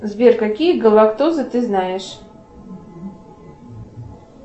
сбер какие галактозы ты знаешь